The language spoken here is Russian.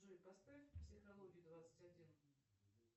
джой поставь психологию двадцать один